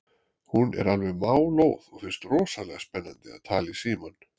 Hún er alveg málóð og finnst rosalega spennandi að tala í símann.